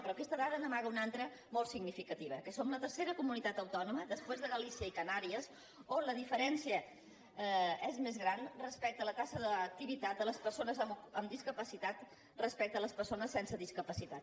però aquesta dada n’amaga una altra molt significativa que som la tercera comunitat autònoma després de galícia i canàries on la diferència és més gran respecte a la taxa d’activitat de les persones amb discapacitat respecte a les persones sense discapacitat